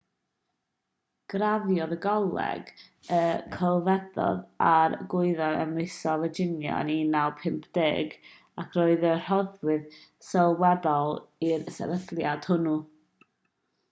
graddiodd o goleg y celfyddydau a'r gwyddorau ym mhrifysgol virginia yn 1950 ac roedd yn rhoddwr sylweddol i'r sefydliad hwnnw